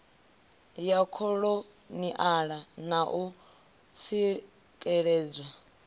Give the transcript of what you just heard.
ya kholoniala na u tsikeledzwa